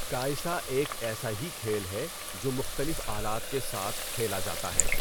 کائسا ایک ایسا ہی کھیل ہے جو مختلف آلات کے ساتھ کھیلا جاتا ہے۔